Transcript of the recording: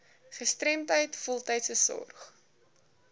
gestremdheid voltydse sorg